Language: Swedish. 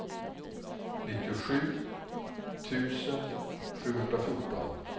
nittiosju tusen sjuhundrafjorton